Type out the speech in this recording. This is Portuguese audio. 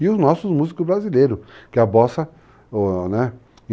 E os nossos músicos brasileiros, que a bossa, né?